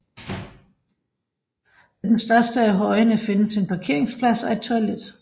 Ved den største af højene findes en parkeringsplads og et toilet